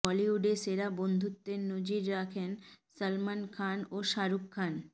বলিউডে সেরা বন্ধুত্বের নজির রাখেন সলমান খান ও শাহরুখ খান